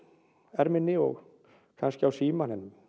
erminni og kannski á símann en